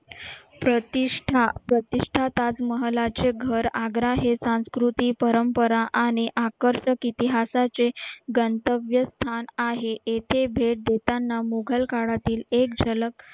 प्रतिष्ठा प्रतिष्ठा ताजमहालाचे घर आग्रा हे सांस्कृतिक परंपरा आणि आकर्षण इतिहासाचे गणतव्य स्थान आहे येथे भेट देताना मुघल काळातील एक झलक